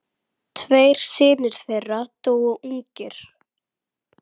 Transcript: Tveir synir þeirra dóu ungir.